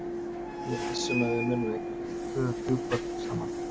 Ég er viss um að við munum eignast tvö þrjú börn saman.